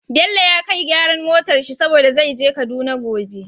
Bello ya kai gyaran motar shi saboda zai je kaduna gobe